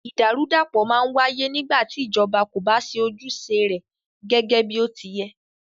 Ìdàrúdàpọ̀ má ń wáyé nígbà tí ìjọba kò bá ṣe ojúṣe rẹ gẹgẹ bí ó ti yẹ́.